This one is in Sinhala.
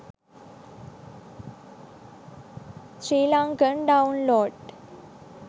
srilankan download